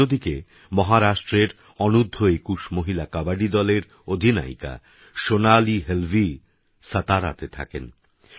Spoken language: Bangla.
অন্যদিকেমহারাষ্ট্রেরঅনুর্ধএকুশমহিলাকবাডিদলেরঅধিনায়িকাসোনালীহেলভীসাতারাতেথাকেন